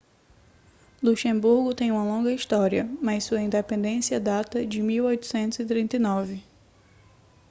luxemburgo tem uma longa história mas sua independência data de 1839